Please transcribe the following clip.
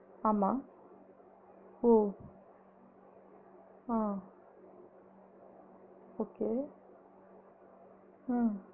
ஆமா ஓ ஆஹ் okay ஆஹ்